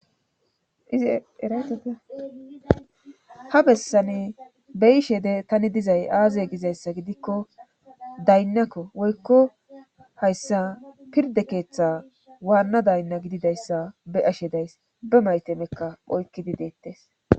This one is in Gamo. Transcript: ha bessani be7ishe de taani dizay aaze gidikko daynnakko woykko hayssa pirdde keetha waana daynna gididayssa be7ashe days;be mayketakka oykkidi beettes.